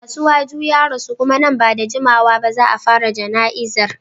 Asiwaju ya rasu kuma nan ba da jimawa ba za a fara jana'izar.